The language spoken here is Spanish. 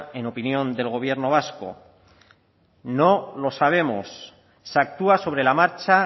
en opinión del gobierno vasco no lo sabemos se actúa sobre la marcha